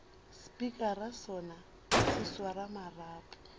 spikara sona se swara marapo